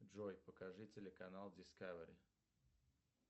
джой покажи телеканал дискавери